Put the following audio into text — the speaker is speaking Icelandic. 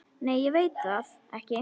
Nei ég veit það ekki.